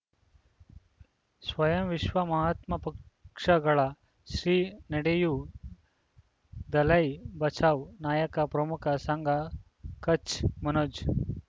ಸ್ವಯಂ ವಿಶ್ವ ಮಹಾತ್ಮ ಪಕ್ಷಗಳ ಶ್ರೀ ನಡೆಯೂ ದಲೈ ಬಚೌ ನಾಯಕ ಪ್ರಮುಖ ಸಂಘ ಕಚ್ ಮನೋಜ್